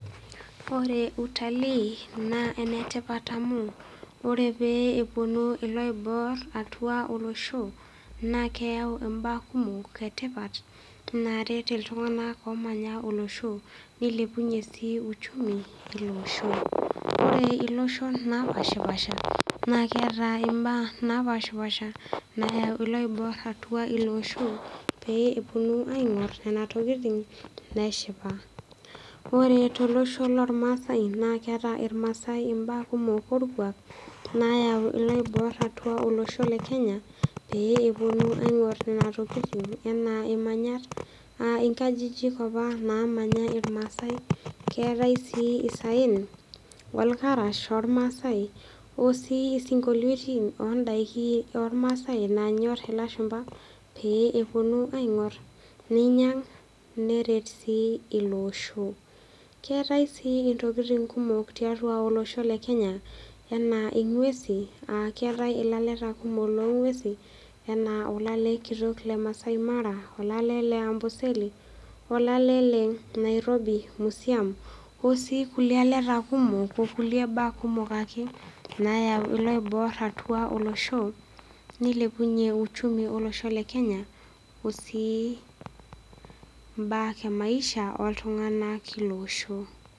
Ore utalii naa enetipat amuu ore pee ewuonu iloibor atua olosho, naa keyau imbaa kumok etipat naret iltung'ana omanya olosho neilepunyie sii uchumi ilo osho. Ore iloshon naapaashipaasha, naa keata imbaa naapaashipaasha naya kulo oibor atua ilo osho pee ewuonu aing'or nena tokitin neshipa. Ore tolosho lolmaasai naa keata ilmaasai imbaa kumok olkuak nayau iloibor atua olosho le Kenya pee ewuonu aing'or nena tokitin anaa imanyat, aa inkajijik opa namanya ilmaasai, keatai sii isaen, olkarash lolmaasai o sii isinkoliotin o ndaiki olmaasai nanyor ilashumba pee ewuonu aing'or neinyang', neret sii ilo osho. Keatai sii intokitin kumok tiatua olosho le Kenya anaa ing'uesi a keatai ilaleta kumok lolng'uesi, anaa olale kitok le Maasai Mara, olale le Amboseli olale le Nairobi Museum, o sii kulie aleta kumok o kulie baa kumok ake nayau iloibor atua olosho, neilepunye uchumi olosho le Kenya o sii mbaa e maisha oltung'ana leilo osho.